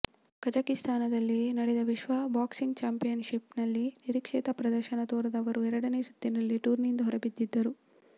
ಕಝಕಿಸ್ತಾನದಲ್ಲಿ ನಡೆದ ವಿಶ್ವ boxing championship ನಲ್ಲಿ ನಿರೀಕ್ಷಿತ ಪ್ರದರ್ಶನ ತೋರದ ಅವರು ಎರಡನೇ ಸುತ್ತಿನಲ್ಲೇ ಟೂರ್ನಿಯಿಂದ ಹೊರಬಿದ್ದಿದ್ದರು